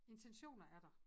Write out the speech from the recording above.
Intentioner er der